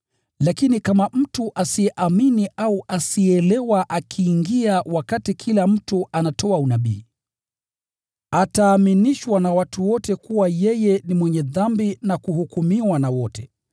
Lakini kama mtu asiyeamini au asiyeelewa akiingia wakati kila mtu anatoa unabii, ataaminishwa na watu wote kuwa yeye ni mwenye dhambi na kuhukumiwa na wote,